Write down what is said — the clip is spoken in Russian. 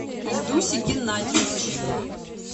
ильдусе геннадьевиче